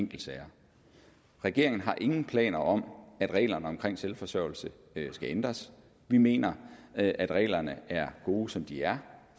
enkeltsager regeringen har ingen planer om at reglerne omkring selvforsørgelse skal ændres vi mener at at reglerne er gode som de er